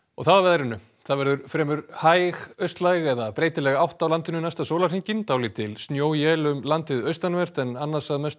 þá að veðri það verður fremur hæg austlæg eða breytileg átt á landinu næsta sólarhringinn dálítil snjóél um landið austanvert en annars að mestu